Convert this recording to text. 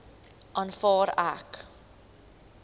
aanvaar ek